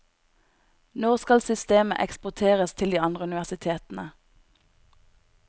Nå skal systemet eksporteres til de andre universitetene.